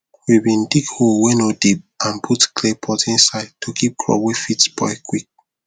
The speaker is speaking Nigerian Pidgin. we bin dig hole wey no deep and put clay pot inside to keep crop wey fit spoil quick